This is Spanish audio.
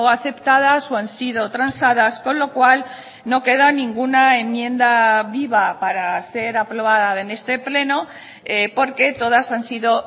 aceptadas o han sido transadas con lo cual no queda ninguna enmienda viva para ser aprobada en este pleno porque todas han sido